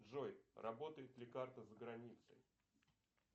джой работает ли карта за границей